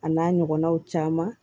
A n'a ɲɔgɔnnaw caman